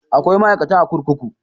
Akwai ma'aikata a kurkuku